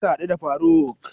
Za ka haɗu da faruk?